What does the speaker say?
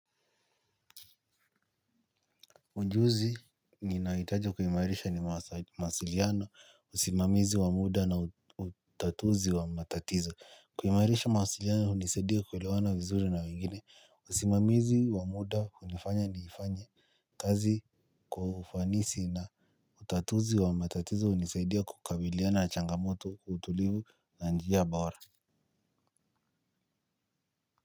Ujuzi ninahitaji kuimairisha ni mawasiliano usimamizi wa muda na utatuzi wa matatizo. Kuimairisha mawasiliano hunisaidia kuelewana vizuri na wengine usimamizi wa muda hunifanya niifanye kazi kwa ufanisi na utatuzi wa matatizo hunisaidia kukabiliana changamoto kwa utulivu na njia bora.